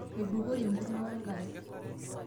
Eibukori enkurma wenkare.